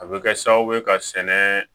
A bɛ kɛ sababu ye ka sɛnɛ